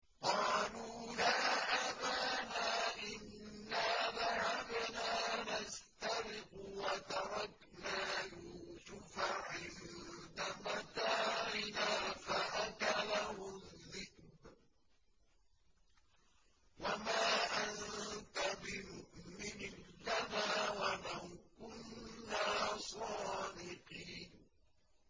قَالُوا يَا أَبَانَا إِنَّا ذَهَبْنَا نَسْتَبِقُ وَتَرَكْنَا يُوسُفَ عِندَ مَتَاعِنَا فَأَكَلَهُ الذِّئْبُ ۖ وَمَا أَنتَ بِمُؤْمِنٍ لَّنَا وَلَوْ كُنَّا صَادِقِينَ